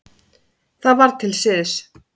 Það var til siðs.